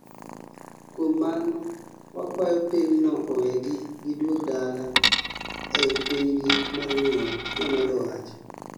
"kuom mano wakuayo piny no owegi giduog dala ei pinygi mar nyuol", nomedo wacho.